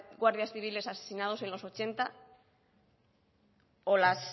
guardias civiles asesinados en los ochenta o las